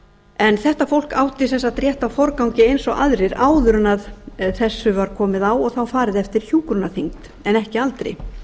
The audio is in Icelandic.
en þetta fólk átti sem sagt rétt á forgangi eins og aðrir áður en þessu var komið á og þá farið eftir hjúkrunarþyngd en ekki aldri